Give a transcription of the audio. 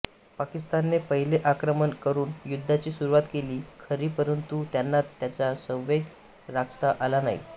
पाकिस्तानने पहिले आक्रमण करून युद्धाची सुरुवात केली खरी परंतु त्यांना त्याचा संवेग राखता आला नाही